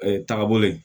tagabolo ye